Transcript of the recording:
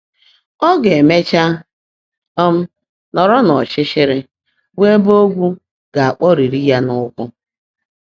Ọ ga-emecha um nọrọ n’ọchịchịrị, bụ ebe ogwu ga-akpọrịrị ya n’ụkwụ.